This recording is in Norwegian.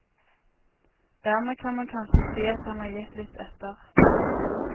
Dermed kan man kanskje si at han har gitt litt etter.